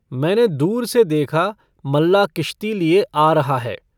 मैंने दूर से देखा, मल्लाह किश्ती लिए आ रहा है।